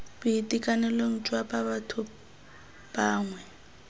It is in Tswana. boitekanelong jwa ba batho bangwe